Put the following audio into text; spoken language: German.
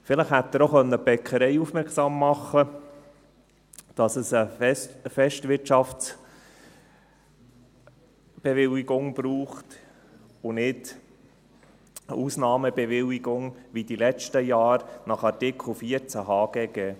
Vielleicht hätte er auch die Bäckerei aufmerksam machen können, dass es eine Festwirtschaftsbewilligung braucht und nicht eine Ausnahmebewilligung nach Artikel 14 HGG, wie in den letzten Jahren.